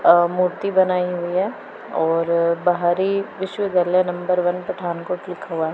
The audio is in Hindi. अह मूर्ति बनाई हुई है और बाहरी विश्वविद्यालय नंबर वन पठानकोट लिखा हुआ है।